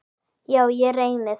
Já, ég reyni það.